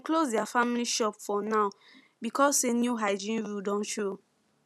close their family shop for now because say new hygiene rule Accepted show